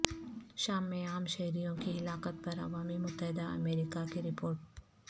شام میں عام شہریوں کی ہلاکت پر عوامی متحدہ امریکہ کی رپورٹ